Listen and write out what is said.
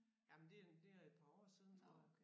Jamen det er det er et par år siden tror jeg